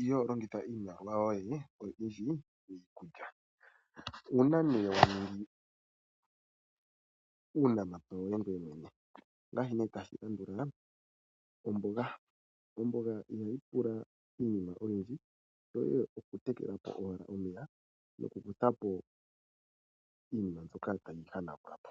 ihoo longitha iimaliwa yoye miinima oyindji miikulya uuna nee wa ningi uunamapya woye ngweye mwene ongaashi nee tashi landula omboga. Omboga ihayi pula iinima oyindji shoye okutekela po owala omeya nokukutha po iinima tayi yi hanagula po.